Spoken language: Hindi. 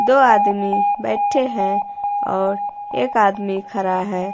दो आदमी बैठे हैं और एक आदमी खरा है।